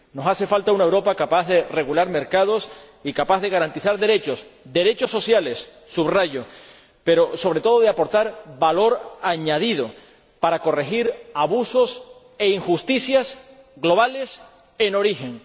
Nos hace falta una Europa capaz de regular mercados y capaz de garantizar derechos, derechos sociales ―subrayo―, pero, sobre todo, de aportar valor añadido para corregir abusos e injusticias globales en origen.